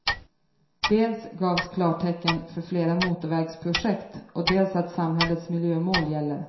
Dels gavs klartecken för flera motorvägsprojekt och dels att samhällets miljömål gäller.